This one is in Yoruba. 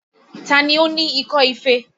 Ta ni ó ní ikọ́ ife?